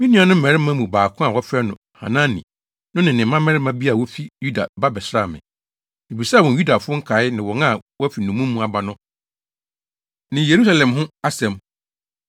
Me nuanom mmarima mu ɔbaako a wɔfrɛ no Hanani no ne mmarima bi a wofi Yuda ba bɛsraa me. Mibisaa wɔn Yudafo a nkae ne wɔn a wɔafi nnommum mu aba no ne Yerusalem ho asɛm.